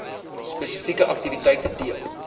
spesifieke aktiwiteite deel